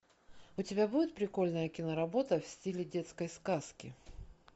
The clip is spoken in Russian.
у тебя будет прикольная киноработа в стиле детской сказки